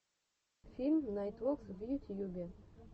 фильм найтфокс в ютьюбе